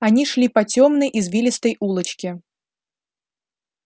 они шли по тёмной извилистой улочке